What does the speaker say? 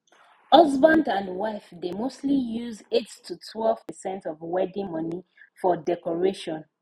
husband and wife dey mostly use eight to twelve percent of wedding money for decoration